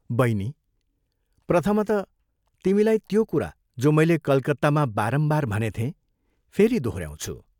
बैनी, प्रथमतः तिमीलाई त्यो कुरा, जो मैले कलकत्तामा बारम्बार भनेथें, फेरि दोहोऱ्याउँछु।